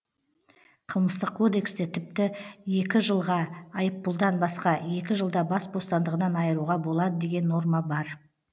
қылмыстық кодексте тіпті екі жылға айыппұлдан басқа екі жылда бас бостандығынан айыруға болады деген норма бар